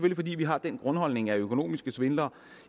fordi vi har den grundholdning at økonomiske svindlere